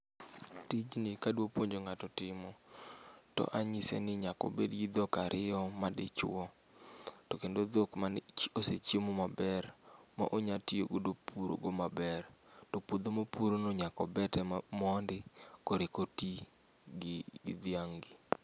Tijni kadwa puonjo ng'ato timo to anyiseni nyaka obedgi dhok ariyo madichuo. Tokendo dhok mani kosechiemo maber ma onya tiyo godo purogo maber. Topuodho mopurono nyaka obete mondo koro kotii gi gi dhiang'gi.